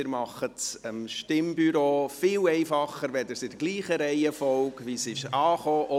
Sie machen es dem Stimmbüro viel einfacher, wenn Sie diese in derselben Reihenfolge ins Kuvert zurücklegen.